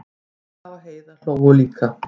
Kolla og Heiða hlógu líka.